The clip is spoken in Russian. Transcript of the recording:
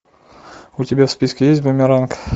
у тебя в списке есть бумеранг